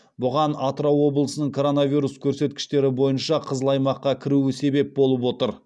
бұған атырау облысының коронавирус көрсеткіштері бойынша қызыл аймаққа кіруі себеп болып отыр